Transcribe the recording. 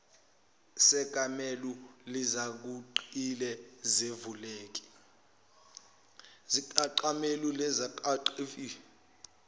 sekamelo likazongile sivuleka